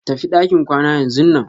Tafi ɗakin kwana yanzunan.